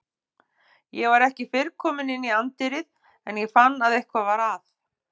Ég var ekki fyrr kominn inn í anddyrið en ég fann að eitthvað var að.